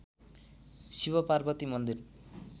शिवपार्वती मन्दिर